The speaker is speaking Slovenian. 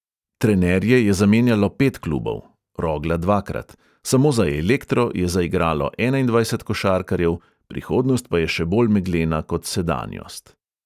Trenerje je zamenjalo pet klubov (rogla dvakrat), samo za elektro je zaigralo enaindvajset košarkarjev, prihodnost pa je še bolj meglena kot sedanjost.